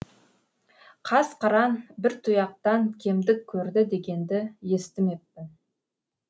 қас қыран бір тұяқтан кемдік көрді дегенді естімеппін